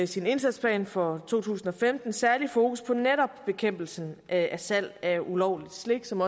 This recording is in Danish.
sin indsatsplan for to tusind og femten særlig fokus på netop bekæmpelsen af salg af ulovligt slik som